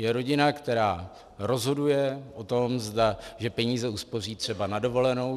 Je rodina, která rozhoduje o tom, že peníze uspoří třeba na dovolenou.